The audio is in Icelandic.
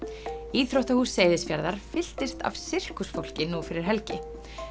íþróttahús Seyðisfjarðar fylltist af nú fyrir helgi